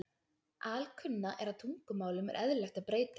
Alkunna er að tungumálum er eðlilegt að breytast.